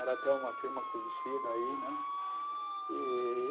Era até uma firma conhecida aí, né? E